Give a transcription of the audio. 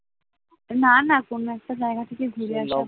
না না কোনো একটা জায়গা থেকে ঘুরে আসা ভালো